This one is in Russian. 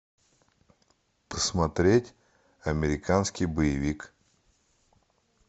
посмотреть американский боевик